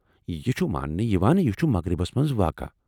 یہ چھُ مانٛنہٕ یوان ، یہِ چُھ مغربس منٛز واقعہٕ ۔